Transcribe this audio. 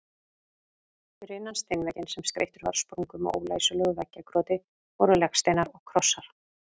Fyrir innan steinvegginn, sem skreyttur var sprungum og ólæsilegu veggjakroti, voru legsteinar og krossar.